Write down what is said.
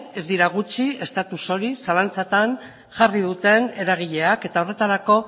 ez dira gutxi status hori zalantzatan jarri duten eragileak eta horretarako